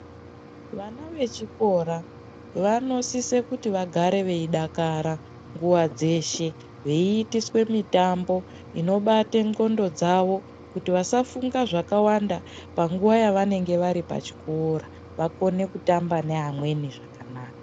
Vana vechikora, vanosise kuti vagare veyidakara nguwa dzeshe. Viyitiswe mitambo inobate ndxondo dzavo kuti vasafunga zvakawanda, panguwa yavanenge varipachikora. Vakone kutamba ne amweni zvakanaka.